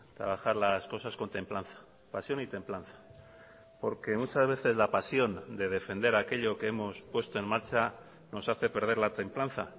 trabajar las cosas con templanza pasión y templanza porque muchas veces la pasión de defender aquello que hemos puesto en marcha nos hace perder la templanza